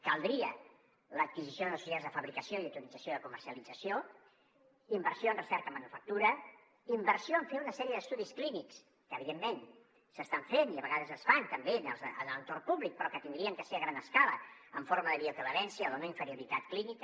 caldria l’adquisició de societats de fabricació i d’autorització de comercialització inversió en recerca manufactura inversió en fer una sèrie d’estudis clínics que evidentment s’estan fent i a vegades es fan també en l’entorn públic però que haurien de ser a gran escala en forma de bioequivalència o de no inferioritat clínica